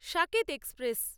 Saket express